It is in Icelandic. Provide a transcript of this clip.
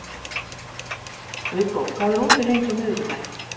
Viggó, hvað er opið lengi á miðvikudaginn?